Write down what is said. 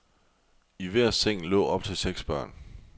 I hver seng lå op til seks børn.